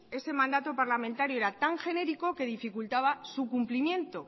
ese mandato parlamentario era tan genérico que dificultaba su cumplimiento